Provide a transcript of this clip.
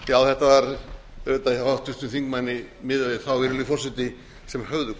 hjá háttvirtum þingmanni miðað við þá virðulegi forseti sem höfðu